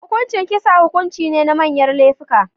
Hukuncin kisa hukunci ne na manyar lefuka